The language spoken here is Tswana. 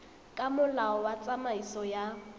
ka molao wa tsamaiso ya